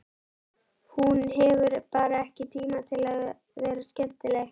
Hún hefur bara ekki tíma til að vera skemmtileg.